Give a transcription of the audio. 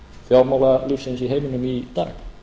fjármálalífsins í heiminum í dag